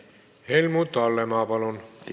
Helmut Hallemaa, palun!